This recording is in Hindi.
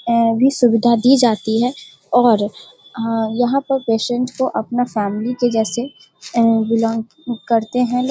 ए भी सुविधा दी जाती है और अ यहाँ पर पेशंट को अपना फैमिली के जैसे ए बिलोंग करते हैं ये।